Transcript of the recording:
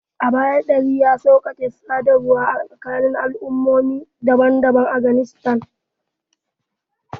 A baya, Dari ya sauƙaƙe sadarwa a tsakanin al'ummomi daban-daban a Afghanistan.